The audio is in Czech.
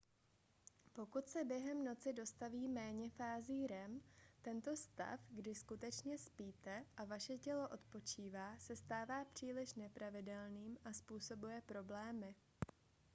pokud se během noci dostaví méně fází rem tento stav kdy skutečně spíte a vaše tělo odpočívá se stává příliš nepravidelným a způsobuje problémy